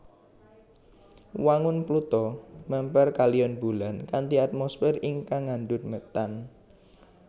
Wangun Pluto mèmper kaliyan Bulan kanthi atmosfer ingkang ngandhut metan